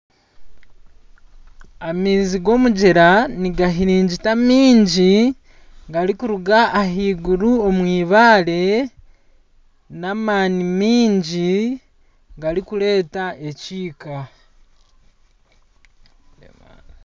Amaizi ga omugyera nigahiringita maingi garikuruga aha eiguru omu eibare n'amaani mangi garikureta ekiika.